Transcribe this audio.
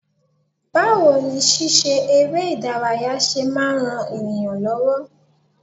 Báwo ni ṣíṣe eré ìdárayá ṣe máa ń ran ènìyàn lọ́wọ́?